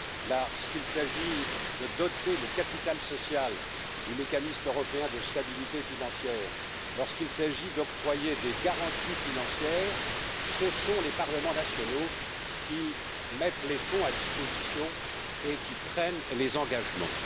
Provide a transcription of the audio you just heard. Lorsqu'il s'agit de doter le capital social du mécanisme européen de stabilité financière et d'octroyer des garanties financières, ce sont en effet les parlements nationaux qui mettent les fonds à disposition et qui prennent les engagements.